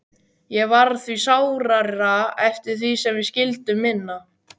Og varð því sárara eftir því sem við skildum minna.